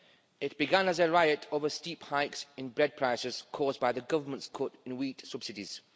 It began as a riot over steep hikes in bread prices caused by the government's cut in wheat subsidies.